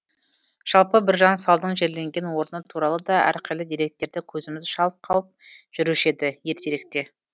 жалпы біржан салдың жерленген орны туралы да әрқилы деректерді көзіміз шалып қалып жүруші еді ертеректе